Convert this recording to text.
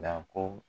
Na ko